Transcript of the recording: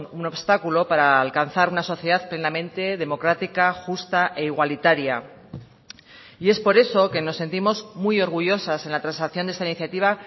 un obstáculo para alcanzar una sociedad plenamente democrática justa e igualitaria y es por eso que nos sentimos muy orgullosas en la transacción de esta iniciativa